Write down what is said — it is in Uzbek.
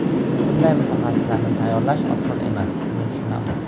Bunday mutaxassislarni tayyorlash oson emas, buni tushunamiz.